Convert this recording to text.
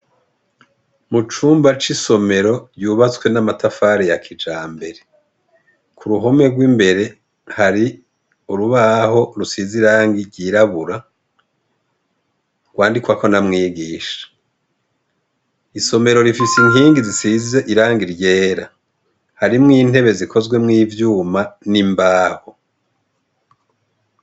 Mucumba c'isomero yubatswe n'amatafare ya kija mbere, ku ruhome rw'imbere hari urubaho rusize irangi iryirabura rwandikwako n’amwigisha, isomero rifise inkingi zisize iranga iryera harimwo inte zikozwemwo ivyuma n'imbaho.